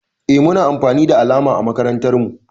Eh Muna amfani da alama a makarantan mu.